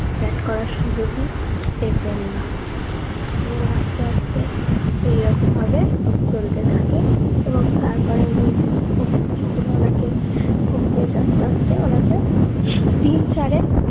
bat করার সুযোগই পেতেন না এবং আস্তে আস্তে এইরকম ভাবে চলতে থাকে এবং তারপরে উনি খুব ওনাকে কোন coach আস্তে আস্তে উনাকে তিন চারে